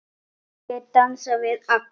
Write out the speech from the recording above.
Allir dansa við alla.